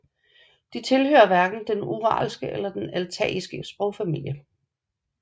De tilhører hverken den uralske eller den altaiske sprogfamilie